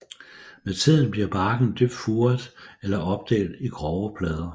Med tiden bliver barken dybt furet eller opdelt i grove plader